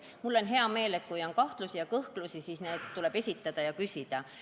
Mul on hea meel, et kui on kahtlusi ja kõhklusi, siis need esitatakse ja nende kohta küsitakse.